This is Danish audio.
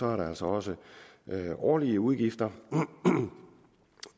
er der altså også årlige udgifter